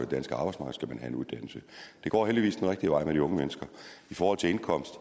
danske arbejdsmarked skal man have en uddannelse det går heldigvis den rigtige vej med de unge mennesker i forhold til indkomst